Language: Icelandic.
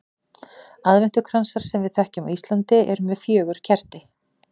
Aðventukransar sem við þekkjum á Íslandi eru með fjögur kerti.